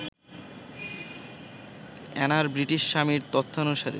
অ্যানার British স্বামীর তথ্যানুসারে